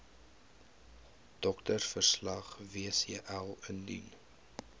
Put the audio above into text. doktersverslag wcl indien